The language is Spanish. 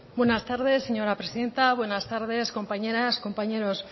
buenas tardes señora presidenta buenas tardes compañeras compañeros